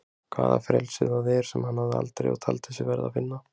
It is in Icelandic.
Hvaða frelsi það er sem hann hafði aldrei og taldi sig verða að finna.